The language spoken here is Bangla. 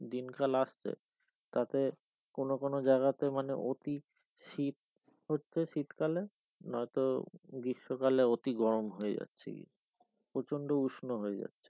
দিনকাল আসছে তাতে কোন কোন জাগাতে মানে অতি শীত হচ্ছে শীতকালে নয়তো গ্রীষ্মকালে অতি গরম হয়ে যাচ্ছে গিয়ে প্রচন্ড উষ্ণ হয়ে যাচ্ছে।